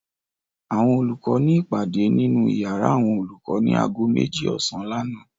Àwọn olùkọ́ ní ìpàdé nínú ìyàrá àwọn olùkọ́ ní ago méjì ọ̀sán lánàá.